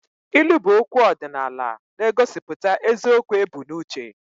Ilu bụ okwu ọdịnala na-egosipụta eziokwu ebu n'uche